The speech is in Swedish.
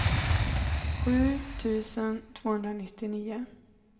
sju tusen tvåhundranittionio